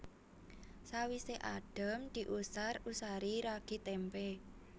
Sawisé adhem diusar usari ragi témpé